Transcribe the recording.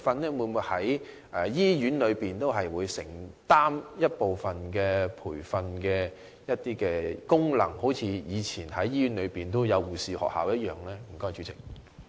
而醫院會否承擔一部分培訓功能，一如以往在醫院中設立護士學校的做法呢？